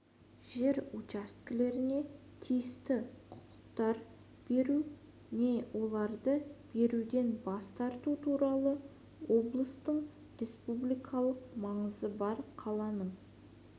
жер учаскелеріне тиісті құқықтар беру не оларды беруден бас тарту туралы облыстың республикалық маңызы бар қаланың